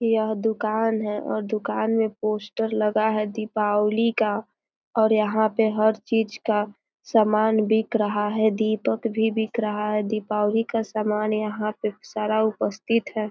यह दुकान है और दुकान में पोस्टर लगा है दीपावली का और यहां पे हर चीज का सामान बिक रहा है दीपक भी बिक रहा है दीपावली का सामान यहां पे सारा उपस्थित है।